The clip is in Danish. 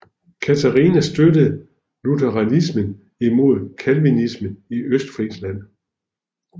Katarina støttede lutheranismen imod Calvinismen i Østfrisland